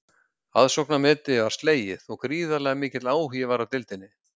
Aðsóknarmetið var slegið og gríðarlega mikill áhugi var á deildinni.